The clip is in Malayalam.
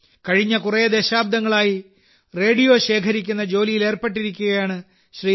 കഴിഞ്ഞ കുറേ ദശാബ്ദങ്ങളായി റേഡിയോ ശേഖരിക്കുന്ന ജോലിയിൽ ഏർപ്പെട്ടിരിക്കുകയാണ് ശ്രീ